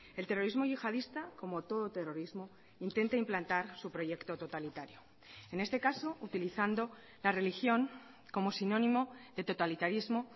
el terrorismo yihadista como todo terrorismo intenta implantar su proyecto totalitario en este caso utilizando la religión como sinónimo de totalitarismo